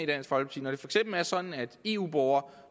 det for eksempel er sådan at eu borgere